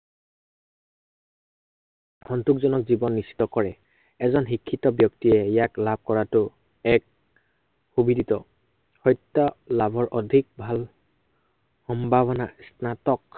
সন্তোষজনক জীৱন নিশ্চিত কৰে। এজন শিক্ষিত ব্য়ক্তিয়ে ইয়াক লাভ কৰাতো এক সুবিদিত সত্য় লাভৰ অধিক ভাল সম্ভাৱনা, স্নাতক